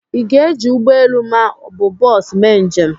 Ị ga-eji ụgbọ elu ma ọ bụ bọsu mee njem?